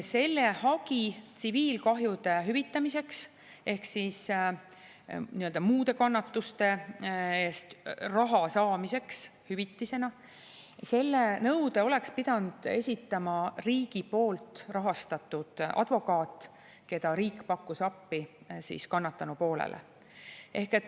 Selle hagi tsiviilkahjude hüvitamiseks ehk siis nõude muude kannatuste eest raha saamiseks hüvitisena oleks pidanud esitama riigi poolt rahastatud advokaat, keda riik pakkus appi kannatanu poolele.